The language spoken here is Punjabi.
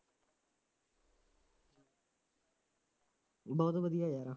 ਬਹੁਤ ਵਧੀਆ ਰਿਹਾ ਯਾਰਾ